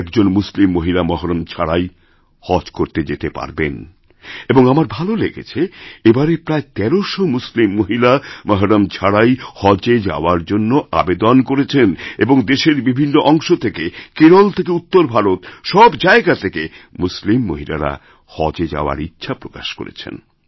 আজ একজন মুসলিম মহিলা মহরম ছাড়াই হজকরতে যেতে পারবেন এবং আমার ভালো লেগেছে এবারে প্রায় ১৩০০ মুসলিম মহিলা মহরম ছাড়াহজ যাওয়ার জন্য আবেদন করেছেন এবং দেশের বিভিন্ন অংশ থেকে কেরল থেকে উত্তরভারত সব জায়গা থেকে মুসলিম মহিলারা হজে যাওয়ার ইচ্ছে প্রকাশ করেছেন